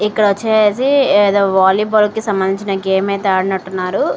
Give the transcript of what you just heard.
ఇక్కడ వచ్చేసి ఏదో వాలీబాల్కి సంబంధించిన గేమ్ అయితే ఆడినట్టున్నారు.